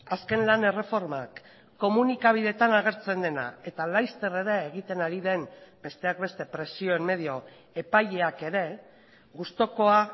azken lan erreformak komunikabidetan agertzen dena eta laster ere egiten ari den besteak beste presioen medio epaileak ere gustukoa